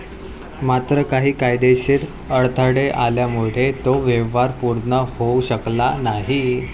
मात्र काही कायदेशीर अडथळे आल्यामुळे तो व्यवहार पूर्ण होऊ शकला नाही.